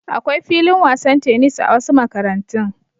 Akwai filin wasan tenis a wasu makarantun.